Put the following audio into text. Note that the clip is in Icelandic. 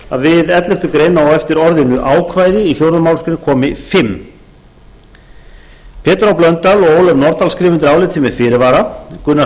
fjórða við elleftu greinar á eftir orðinu ákvæði í fjórðu málsgreinar komi fimmta pétur h blöndal og ólöf nordal skrifa undir álitið með fyrirvara gunnar